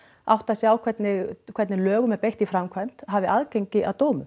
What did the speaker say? átta sig á hvernig hvernig lögum er beitt í framkvæmd hafi aðgengi að dómum